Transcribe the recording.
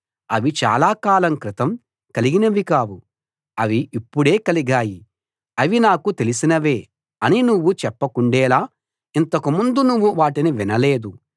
అవి చాలా కాలం క్రితం కలిగినవి కావు అవి ఇప్పుడే కలిగాయి అవి నాకు తెలిసినవే అని నువ్వు చెప్పకుండేలా ఇంతకుముందు నువ్వు వాటిని వినలేదు